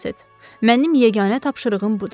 Mənim yeganə tapşırığım budur.